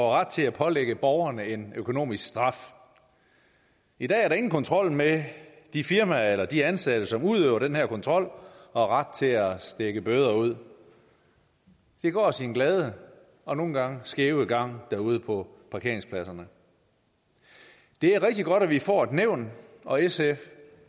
ret til at pålægge borgerne en økonomisk straf i dag er der ingen kontrol med de firmaer eller de ansatte som udøver den her kontrol og ret til at stikke bøder ud det går sin glade og nogle gange skæve gang derude på parkeringspladserne det er rigtig godt at vi får et nævn og sf